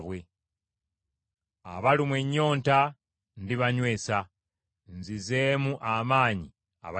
Abalumwa ennyonta ndibanywesa, nzizeemu amaanyi abazirika.”